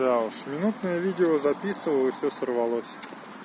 да уж минутное видео записываю и всё сорвалось